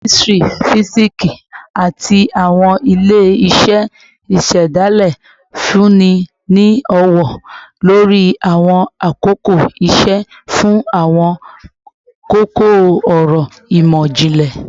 Kemistri, fisiksi, ati awọn ile-iṣẹ isedale nfunni ni ọwọ-lori awọn akoko iṣe fun awọn koko-ọrọ imọ-jinlẹ